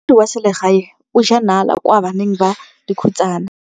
Molaodi wa selegae o jaa nala kwa baneng ba dikhutsana.